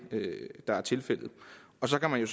der er tilfældet og så kan man jo